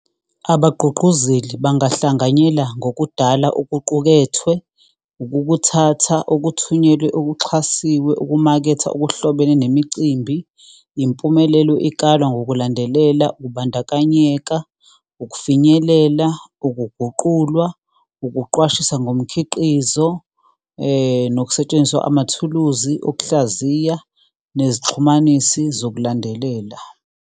Abagqugquzeli bangahlanganyela ngokudala okuqukethwe, ukukuthatha okuthunyelwe, okuxhasiwe, ukumaketha okuhlobene nemicimbi. Impumelelo ikalwa ngokulandelela, ukubandakanyeka, ukufinyelela, ukuguqulwa, ukuqwashisa ngomkhiqizo, nokusetshenziswa amathuluzi okuhlaziya nezixhumanisi zokulandelela.